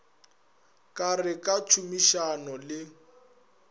ka re ka tšhomišano le